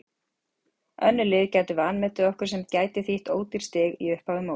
Önnur lið gætu vanmetið okkur sem gæti þýtt ódýr stig í upphafi móts.